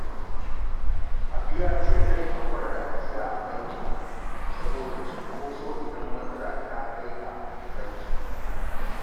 Habu ya ce zai haƙura da ajiya a banki saboda cinkoso idan matsala ta kai ka bankin